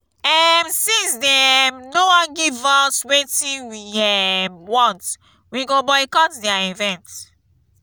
um since dey um no wan give us wetin we um want we go boycott their event